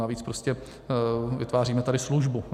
Navíc prostě vytváříme tady službu.